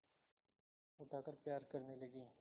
उठाकर प्यार करने लगी